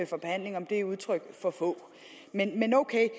for behandling er udtryk for få men ok